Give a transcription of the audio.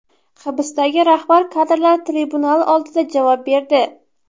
Hibsdagi rahbar kadrlar tribunal oldida javob berdi.